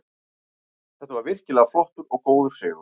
Þetta var virkilega flottur og góður sigur.